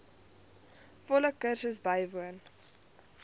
volle kursus bywoon